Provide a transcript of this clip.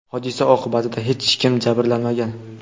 hodisa oqibatida hech kim jabrlanmagan.